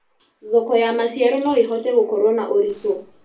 Thoko ya macĩaro noĩhote gũkorwo na ũrĩtũ